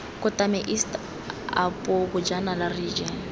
kotane east apo bojanala region